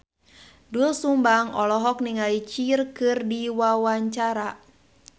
Doel Sumbang olohok ningali Cher keur diwawancara